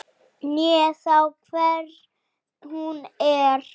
né þá hver hún er.